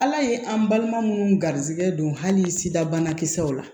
Ala ye an balima minnu garisɛgɛ don hali sida banakisɛw la